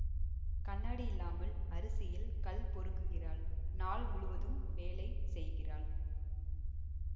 கண்ணாடியில்லாமல் அரிசியில் கல் பொறுக்குகிறாள் நாள் முழுவதும் வேலை செய்கிறாள்